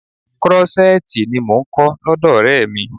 Krọ́ṣẹ́tìì ni mò ń kọ́ lọ́dọ̀ Ọ̀rẹ́ mi.